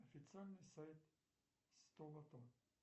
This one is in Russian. официальный сайт сто лото